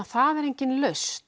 það er engin lausn